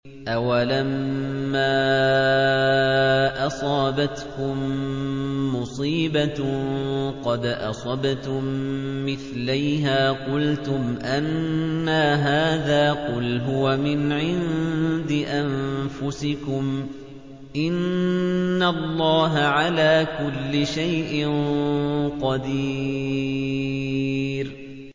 أَوَلَمَّا أَصَابَتْكُم مُّصِيبَةٌ قَدْ أَصَبْتُم مِّثْلَيْهَا قُلْتُمْ أَنَّىٰ هَٰذَا ۖ قُلْ هُوَ مِنْ عِندِ أَنفُسِكُمْ ۗ إِنَّ اللَّهَ عَلَىٰ كُلِّ شَيْءٍ قَدِيرٌ